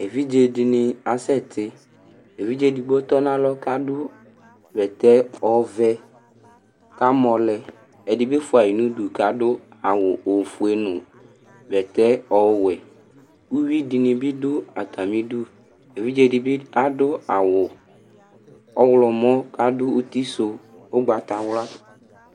Evidze ɛɖìní asɛti Evidze ɛɖigbo tɔ ŋu alɔ kʋ aɖu bɛtɛ ɔvɛ kʋ amɔlɛ Ɛɖìbi fʋaɣi ŋu iɖʋ kʋ aɖu awu ɔfʋe ŋu bɛtɛ ɔwɛ Uvìɖí ni bi ɖu atamiɖu Evidze ɖi bi aɖu awu ɔwlɔmɔ kʋ aɖu ʋtisu ugbatawla